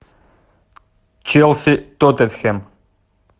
челси тоттенхэм